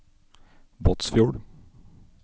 Båtsfjord